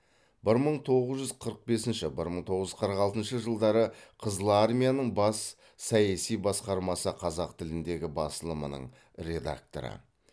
бір мың тоғыз жүз қырық бесінші бір мың тоғыз жүз қырық алтыншы жылдары қызыл армияның бас саяси басқармасы қазақ тіліндегі басылымының редакторы